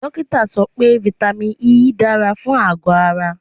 Dókítà sọ pé vitamin E dára fún àgọ̀ ara.